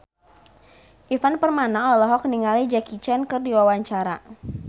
Ivan Permana olohok ningali Jackie Chan keur diwawancara